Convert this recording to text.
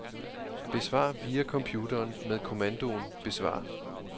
Besvar via computeren med kommandoen besvar.